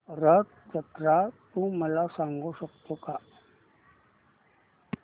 रथ जत्रा तू मला सांगू शकतो का